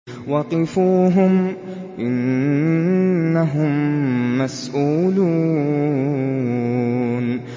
وَقِفُوهُمْ ۖ إِنَّهُم مَّسْئُولُونَ